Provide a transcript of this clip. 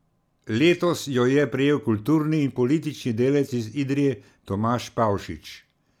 Letos jo je prejel kulturni in politični delavec iz Idrije Tomaž Pavšič.